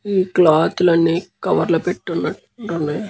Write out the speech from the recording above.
ఈ క్లోత్ లు అన్ని కవర్ లో పెట్టున టున్నాయి.